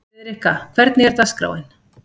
Friðrikka, hvernig er dagskráin?